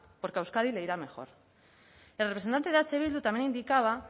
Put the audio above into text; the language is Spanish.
porque a euskadi le irá mejor el representante de eh bildu también indicaba